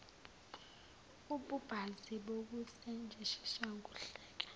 ububanzi bokusetshenziswa kohlaka